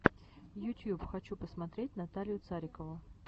ютьюб хочу посмотреть наталью царикову